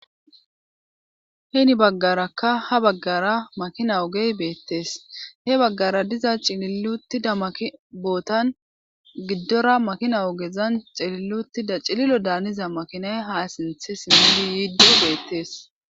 Heeni baggarakka ha baggara makina ogey beettees he baggara diza cililuttida maki bootan giddora makina ogezan xililutida cililo daaniza makinay ha sinthe simili yiidoy beettees.